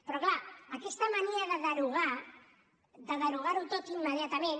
però clar aquesta mania de derogar de derogar ho tot immediatament